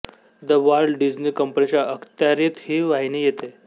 the Walt Disney कंपनीच्या अखत्यारीत ही वाहिनी येते